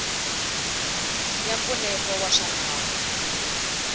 ya mpfuneto wa swa nawu